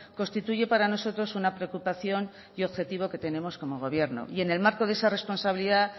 constituye para nosotros una preocupación y objetivo que tenemos como gobierno y en el marco de esa responsabilidad